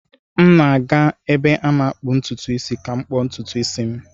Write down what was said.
M na-aga ebe a na-akpụ ntutu isi ka m kpuo ntutu isi m.